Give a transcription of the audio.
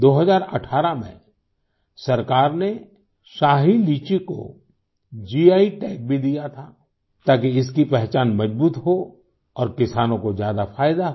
2018 में सरकार ने शाही लीची को गी टैग भी दिया था ताकि इसकी पहचान मज़बूत हो और किसानों को ज़्यादा फ़ायदा हो